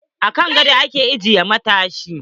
A kan godo a ke aje matashi.